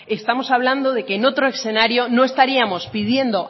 estamos hablando de que en otro escenario no estaríamos pidiendo